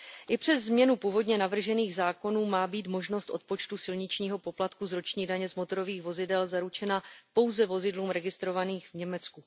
I přes změnu původně navržených zákonů má být možnost odpočtu silničního poplatku z roční daně z motorových vozidel zaručena pouze vozidlům registrovaným v Německu.